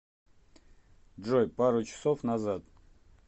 джой пару часов назад